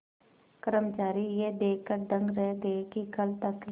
कर्मचारी यह देखकर दंग रह गए कि कल तक